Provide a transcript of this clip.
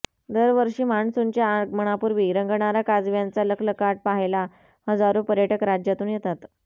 दरवर्षी मान्सूनच्या आगमनापूर्वी रंगणारा काजव्यांचा लखलखाट पहायला हजारो पर्यटक राज्यातून येेेतात